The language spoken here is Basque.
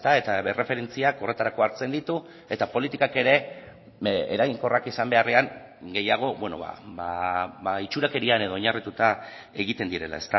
eta erreferentziak horretarako hartzen ditu eta politikak ere eraginkorrak izan beharrean gehiago itxurakerian edo oinarrituta egiten direla